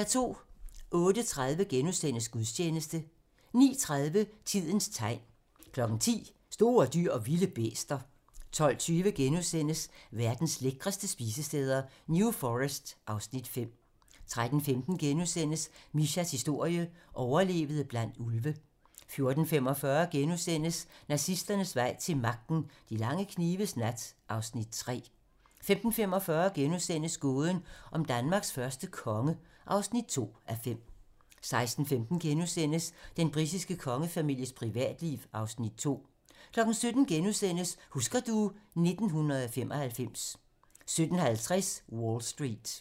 08:30: Gudstjeneste * 09:30: Tidens tegn 10:00: Store dyr & vilde bæster 12:20: Verdens lækreste spisesteder - New Forest (Afs. 5)* 13:15: Mishas historie: Overlevede blandt ulve * 14:45: Nazisternes vej til magten: De lange knives nat (Afs. 3)* 15:45: Gåden om Danmarks første konge (2:5)* 16:15: Den britiske kongefamilies privatliv (Afs. 2)* 17:00: Husker du ... 1995 * 17:50: Wall Street